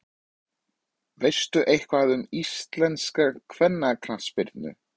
Hvað annars á ég að gera við þjóðfána Tógó?